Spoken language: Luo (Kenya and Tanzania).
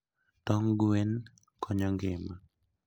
Tong gwen jakony ngima